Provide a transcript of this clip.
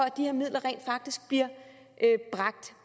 at de her midler rent faktisk bliver bragt